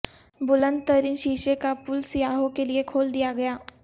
بلند ترین شیشے کا پل سیاحوں کےلیے کھول دیاگیا